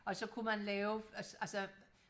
og så kunne man lave altså